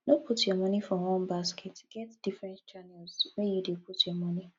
no put your monie for one basket get different channels where you dey put your monie